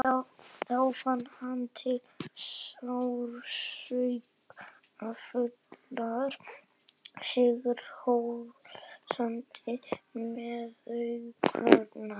Þá fann hann til sársaukafullrar, sigrihrósandi meðaumkunar.